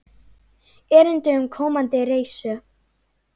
Erindi um komandi reisu.